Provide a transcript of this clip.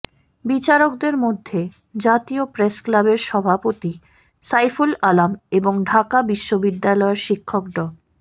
বিচারকদের মধ্যে জাতীয় প্রেস ক্লাবের সভাপতি সাইফুল আলম এবং ঢাকা বিশ্ববিদ্যালয়ের শিক্ষক ড